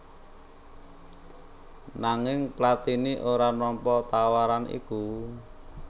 Nanging Platini ora nampa tawaran iku